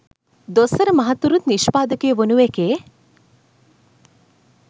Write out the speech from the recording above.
දොස්තර මහත්තුරුත් නිෂ්පාදකයෝ වුණු එකේ